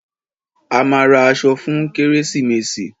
A máa ra aṣọ fún kérésìmesì.